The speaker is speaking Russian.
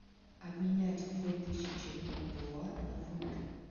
обменять две тысячи бальбоа на фунты